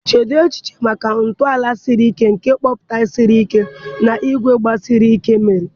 Cheedị echiche maka ntọala siri ike nke kọmpụta siri ike na ígwè gbasiri ike mere